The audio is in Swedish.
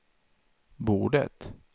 bordet